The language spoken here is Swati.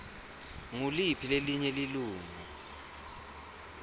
nguliphi lelinye lilunga